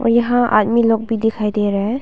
यहां आदमी लोग भी दिखाई दे रहा है।